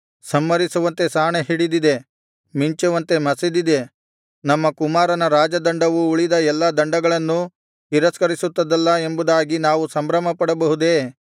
ಸಂಹರಿಸುವಂತೆ ಸಾಣೆ ಹಿಡಿದಿದೆ ಮಿಂಚುವಂತೆ ಮಸೆದಿದೆ ನಮ್ಮ ಕುಮಾರನ ರಾಜದಂಡವು ಉಳಿದ ಎಲ್ಲಾ ದಂಡಗಳನ್ನು ತಿರಸ್ಕರಿಸುತ್ತದಲ್ಲಾ ಎಂಬುದಾಗಿ ನಾವು ಸಂಭ್ರಮಪಡಬಹುದೇ